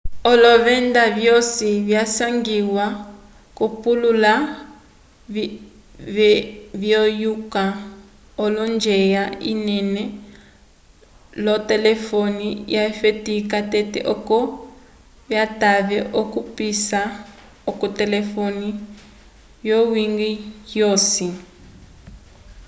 olovenda vyosi visangiwa k'olupale vyeyuka l'onjwela inene yolotelefone vyafetiwa tete oco vitave okupisa k'olotelefone vyowiñgi wosi